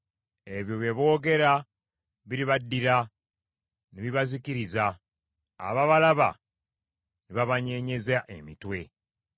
Ebyo bye boogera biribaddira, ne bibazikiriza, ababalaba ne babanyeenyeza emitwe.